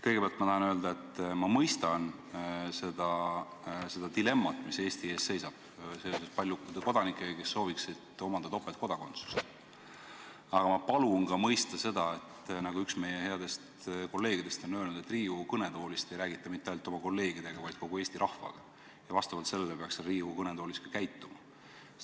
Kõigepealt ma tahan öelda, et ma mõistan seda dilemmat, mis Eesti ees seisab, seoses paljude kodanikega, kes sooviksid omandada topeltkodakondsust, aga ma palun mõista ka seda, nagu üks meie headest kolleegidest on öelnud, et Riigikogu kõnetoolist ei räägita mitte ainult oma kolleegidega, vaid kogu rahvaga ja vastavalt sellele peaks siin Riigikogu kõnetoolis ka käituma.